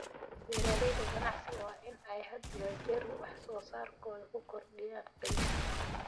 Beeralayda ganacsiga waa in ay had iyo jeer wax soo saarkooda ku kordhiyaan qiimo.